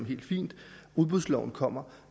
helt fint og udbudsloven kommer